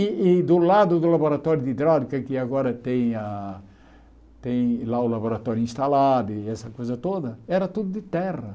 E e do lado do laboratório de hidráulica, que agora tem a tem lá o laboratório instalado e essa coisa toda, era tudo de terra.